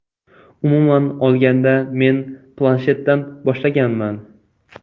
Umuman olganda, men planshetdan boshlaganman.